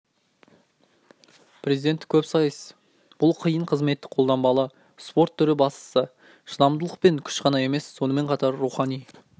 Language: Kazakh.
президенттік көпсайыс бұл қиын қызметтік қолданбалы спорт түрі бастысы шыдамдылық пен күш қана емес сонымен қатар рухани